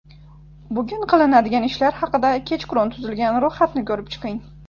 Bugun qilinadigan ishlar haqida kechqurun tuzilgan ro‘yxatni ko‘rib chiqing.